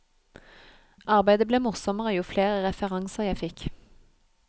Arbeidet ble morsommere jo flere referanser jeg fikk.